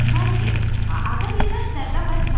“Tayger, aza bilməzlər də vəssalam.”